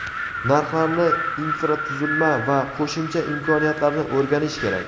Narxlarni, infratuzilma va qo‘shimcha imkoniyatlarni o‘rganish kerak.